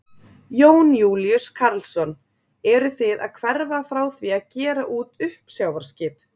Jón Júlíus Karlsson: Eruð þið að hverfa frá því að gera út uppsjávarskip?